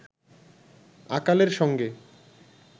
আকালের সঙ্গে